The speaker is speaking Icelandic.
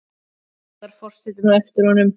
kallar forsetinn á eftir honum.